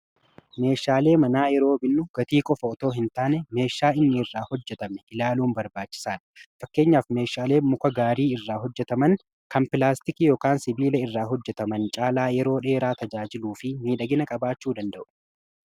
meeshaalee manaa yeroo binnu gatii qofa otoo hin taane meeshaa inni irraa hojjetame ilaaluun barbaachisaadha fakkeenyaaf meeshaalee muka gaarii irraa hojjetaman kan pilaastiki yokaan sibiila irraa hojjetaman caalaa yeroo dheeraa tajaajiluu fi miidhagina qabaachuu danda'u.